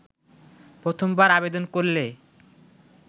প্রথমবার আবেদন করলে